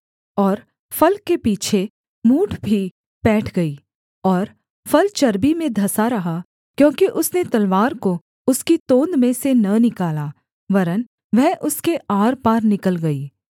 और फल के पीछे मूठ भी पैठ गई और फल चर्बी में धंसा रहा क्योंकि उसने तलवार को उसकी तोंद में से न निकाला वरन् वह उसके आरपार निकल गई